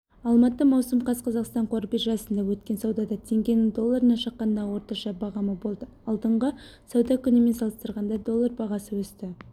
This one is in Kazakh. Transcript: алматы маусым қаз қазақстан қор биржасында өткен саудада теңгенің долларына шаққандағы орташа бағамы болды алдыңғы сауда күнімен салыстырғанда доллар бағасы өсті